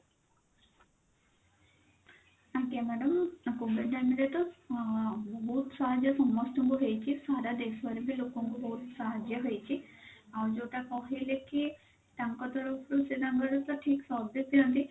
ଆଜ୍ଞା madam ଆଉ COVID time ରେ ତ ଅ ବହୁତ ସାହାର୍ଯ୍ୟ ସମସ୍ତଙ୍କୁ ହେଇଛି ସାରା ଦେଶ ରେ ବି ଲୋକଙ୍କୁ ବହୁତ ସାହାର୍ଯ୍ୟ ହେଇଛି ଅ ଯଉଟା କହିଲେ କି ତାଙ୍କ ତରଫ ରୁ ସେ ତାଙ୍କର ତ ଠିକ service ଦିଅନ୍ତି